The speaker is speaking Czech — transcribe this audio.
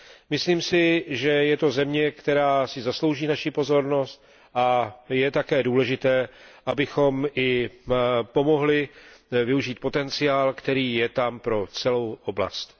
Myslím si, že je to země, která si zaslouží naši pozornost, a je také důležité, abychom i pomohli využít potenciál, který je tam pro celou oblast.